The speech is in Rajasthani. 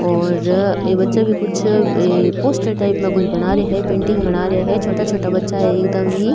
और ये बच्चा भी कुछ पोस्टर टाइप पे बना रहे है कुछ पेंटिंग बना रहे है छोटा छोटा बच्चा है एकदम ही।